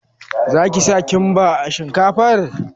Za ki sa kimba a shinkafar?